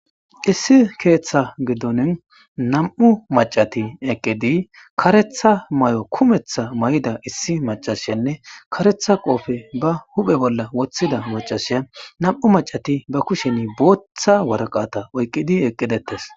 issi keeththa giddonin nam7u macati eqqidi karetha may7o kumeththa may7ida issi macashsenne karetha qoofe ba huphe bolla woththida macashiya nam7u macati ba kusheni booththa waraqata oyqqidi eqqidettes